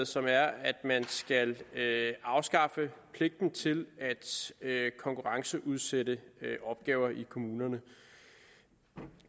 som er at man skal afskaffe pligten til at konkurrenceudsætte opgaver i kommunerne de